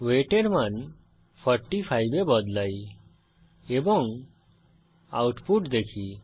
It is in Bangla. ওয়েট এর মান 45 এ বদলাই এবং আউটপুট দেখি